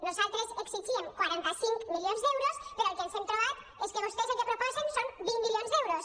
nosaltres exigíem quaranta cinc milions d’euros però el que ens hem trobat és que vostès el que proposen són vint milions d’euros